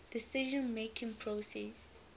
decision making process